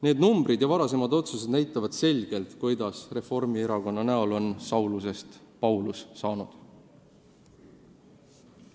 Need arvud ja varasemad otsused näitavad selgelt, kuidas Reformierakonna näol on Saulusest Paulus saanud.